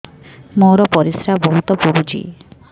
ମୋର ପରିସ୍ରା ବହୁତ ପୁଡୁଚି